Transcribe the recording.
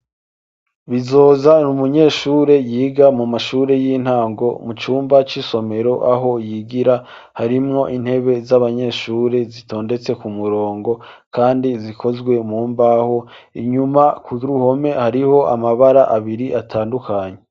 Bizoza n'umunyeshuri yiga mu mashuri y'intango mu cyumba cy'isomero aho yigira harimwo intebe z'abanyeshuri zitondetse ku murongo kandi zikozwe mumbaho inyuma ku ruhome hariho amabara abiri atandukanye.